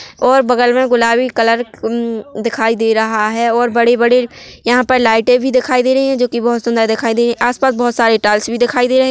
और बगल में गुलाबी कलर दिखाई दे रहा है और बड़े-बड़े यहाँ पर लाइटे भी दिखाई दे रही है जो कि बहुत सुंदर दिखाई दे रही है आसपास बहुत सारे टाइल्स भी दिखाई दे रही।